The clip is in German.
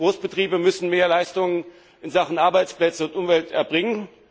Großbetriebe müssen mehr Leistung in Sachen Arbeitsplätze und Umwelt erbringen.